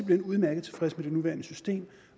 hen udmærket tilfreds med det nuværende system